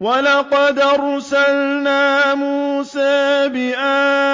وَلَقَدْ أَرْسَلْنَا مُوسَىٰ بِآيَاتِنَا